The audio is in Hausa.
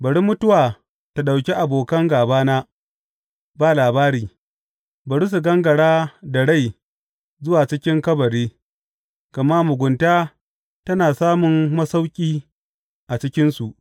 Bari mutuwa ta ɗauki abokan gābana ba labari; bari su gangara da rai zuwa cikin kabari, gama mugunta tana samun masauƙi a cikinsu.